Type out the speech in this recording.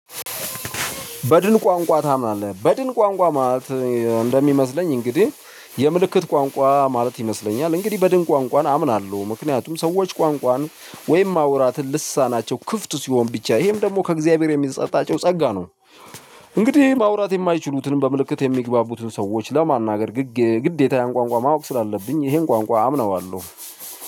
በድን ቋንቋ ታምናለህ? በድን ቋንቋ ማለት እንደሚመስለኝ እንግዲህ የምልክት ቋንቋ ማለት ይመስለኛል እንግዲህ በድን ቋንቋን አምናለሁ ምክንያቱም ሰዎች ቋንቋን ወይም ማውራት ልሳናቸው ክፍት ሲሆን ብቻ ይሄም ደግሞ ከእግዚአብሔር የሚሰጣቸው ጸጋ ነው እንግዲህ ማውራት የማይችሉትንም በምልክት የሚግባቡትን ሰዎች ለማናገር ግዴታ ያን ቋንቋ ማወቅ ስላለብኝ ይሄን ቋንቋ አምነዋለሁ።